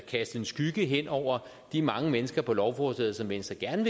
kaste en skygge over de mange mennesker på lovforslaget som venstre gerne